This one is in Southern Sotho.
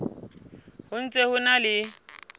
ho ntse ho na le